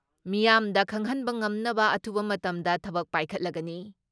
ꯃꯤꯌꯥꯝꯗ ꯈꯪꯍꯟꯕ ꯉꯝꯅꯕ ꯑꯊꯨꯕ ꯃꯇꯝꯗ ꯊꯕꯛ ꯄꯥꯏꯈꯠꯂꯒꯅꯤ ꯫